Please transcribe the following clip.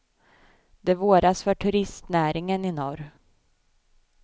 Det våras för turistnäringen i norr.